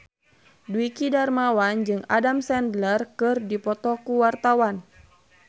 Dwiki Darmawan jeung Adam Sandler keur dipoto ku wartawan